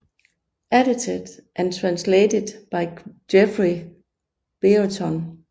Edited and Translated by Geoffrey Brereton